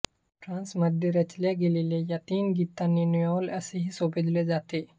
फ्रान्समध्ये रचल्या गेलेल्या या गीतांना नोएल असेही संबोधिले जाते